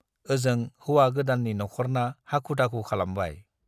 ओजों हौवा गोदाननि नख'रना हाखु-दाखु खालामबाय।